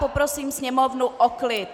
Poprosím sněmovnu o klid.